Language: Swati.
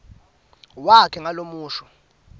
wakhe ngalo umusho